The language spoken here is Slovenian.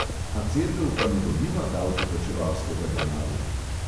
A cerkev pa ne dobiva davkoplačevalskega denarja?